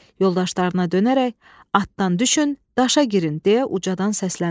Yoldaşlarına dönərək: “Atdan düşün, daşa girin!” – deyə ucadan səsləndi.